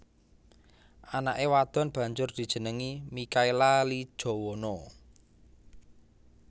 Anake wadon banjur dijenengi Mikhaela Lee Jowono